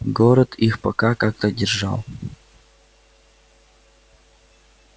город их пока как-то держал